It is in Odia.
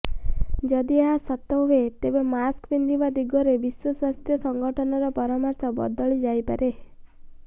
ଯଦି ଏହା ସତ ହୁଏ ତେବେ ମାସ୍କ ପିନ୍ଧିବା ଦିଗରେ ବିଶ୍ୱ ସ୍ୱାସ୍ଥ୍ୟ ସଂଗଠନର ପରାମର୍ଶ ବଦଳିଯାଇପାରେ